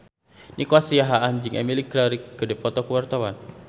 Nico Siahaan jeung Emilia Clarke keur dipoto ku wartawan